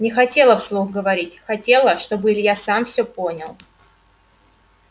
не хотела вслух говорить хотела чтобы илья сам все понял